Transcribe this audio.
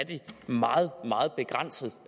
meget meget begrænset